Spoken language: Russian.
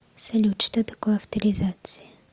салют что такое авторизация